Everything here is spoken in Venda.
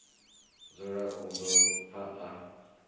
dzuli u ḓo pfa a